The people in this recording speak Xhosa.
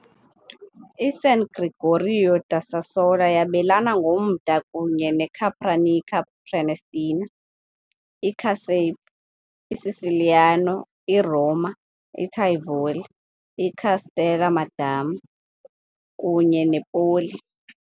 I-San Gregorio da Sassola yabelana ngomda kunye neCapranica Prenestina, iCasape, iCiciliano, iRoma, iTivoli, iCastel Madama, kunye nePoli .